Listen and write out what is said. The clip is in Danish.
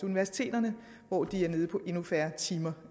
universiteterne hvor de er nede på endnu færre timer